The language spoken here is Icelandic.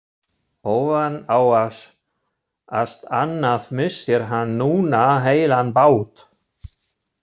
Ofan á allt annað missir hann núna heilan bát.